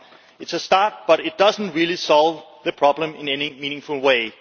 It is a start, but it does not really solve the problem in any meaningful way.